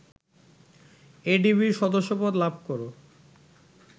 এডিবির সদস্যপদ লাভ কর